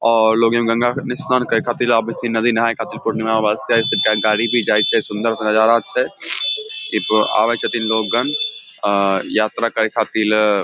और लोग यहां गंगा स्नान करे खातिर आवे छै इ नदी नहा खातिर पूर्णिमा वास्ते गाड़ी भी जाय छै सुंदर सा नजारा छै इ पर आवे छथिन लोग गण अ यात्रा करे खातिर ले अ --